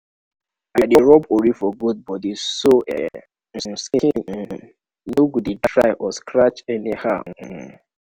i dey rub ori for goat body so e um skin um no go dey dry or scratch anyhow. um